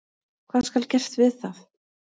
Hvað skal gert við það?